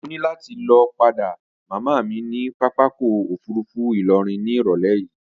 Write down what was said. Mo ní láti lọ padé màmá mi ní papákọ̀ òfurufú ìlọrin ní irọ̀lẹ́ yìí